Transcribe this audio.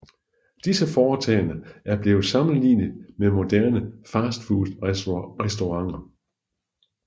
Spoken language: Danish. Disse foretagender er blevet sammenlignet med moderne fastfoodrestauranter